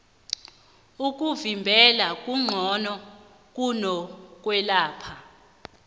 ukuvimbela kungqono kuno kwelapha